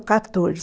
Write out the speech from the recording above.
quatorze